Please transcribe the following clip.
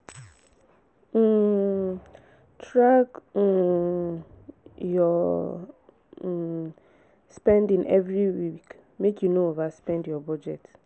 um track um your um spending every week make you no overspend your budget.